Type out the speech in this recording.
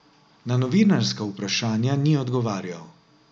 Na novinarska vprašanja ni odgovarjal.